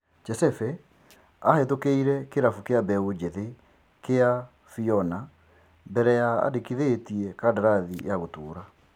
Chesebe ahetũkĩire kĩrabu kĩa beũ njithi kĩa Viona mbere ya andĩkithĩtie kandarathi ya gũtũra.